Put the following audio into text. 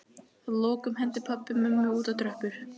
Að lokum henti pabbi mömmu út á tröppur.